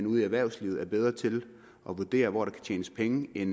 ude i erhvervslivet er bedre til at vurdere hvor der kan tjenes penge end